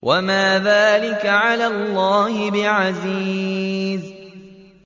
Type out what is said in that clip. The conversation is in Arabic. وَمَا ذَٰلِكَ عَلَى اللَّهِ بِعَزِيزٍ